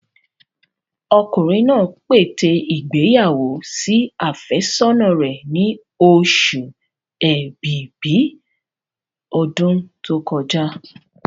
Ọkùnrin náà pète ìgbéyàwó sí àfẹ́sọ́nà rẹ̀ ni oṣù ẹ̀bìbí ọdún tó kọjá.